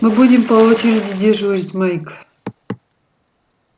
мы будем по очереди дежурить майк